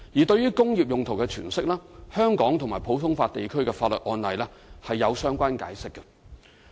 對於"工業用途"的詮釋，香港及普通法地區法律案例是有相關解釋的。